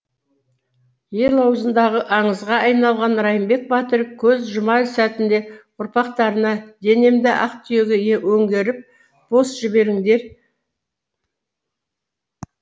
ел ауызындағы аңызға айналған райымбек батыр көз жұмар сәтінде ұрпақтарына денемді ақтүйеге өңгеріп бос жіберіңдер